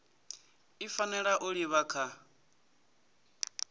i fanela u livha kha